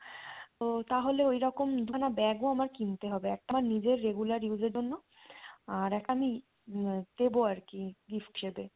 ও তাহলে ওইরকম দুখানা bag ও আমার কিনতে হবে একটা নিজের regular use এর জন্য আর একটা আমি আহ দেবো আরকি gift হিসেবে।